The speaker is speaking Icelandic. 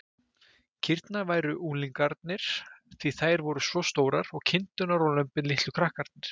Kýrnar væru unglingarnir, því þær væru svo stórar, og kindurnar og lömbin litlu krakkarnir.